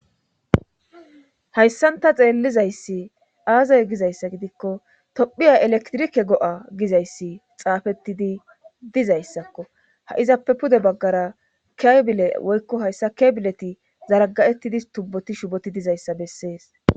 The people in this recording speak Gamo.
hayssan ta xeellizayssi aazay gizayssa gidikko tophiya elektrike go7a gizayssi xaafettidi dizayssakko ha7izappe pude baggara keebile woykko hayssa kebileti zaraga7ettidi tubboti shuboti dizayssa bessees